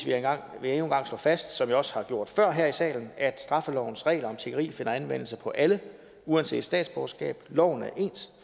en gang slå fast som jeg også har gjort før her i salen at straffelovens regler om tiggeri finder anvendelse på alle uanset statsborgerskab loven er ens